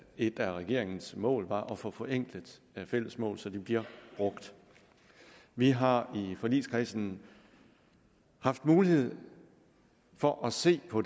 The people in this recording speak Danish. et af regeringens mål var at få forenklet fælles mål så de bliver brugt vi har i forligskredsen haft mulighed for at se på